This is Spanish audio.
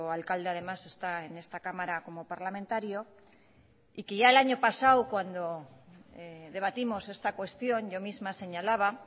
alcalde además está en esta cámara como parlamentario y que ya el año pasado cuando debatimos esta cuestión yo misma señalaba